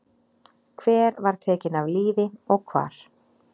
Hver var tekin af lífi og hvar?